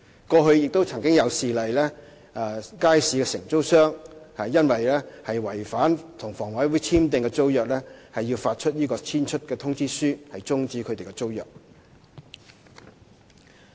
過去亦曾有事例，街市承租商因違反與房委會簽訂的租約，當局要發出"遷出通知書"終止他們的租約。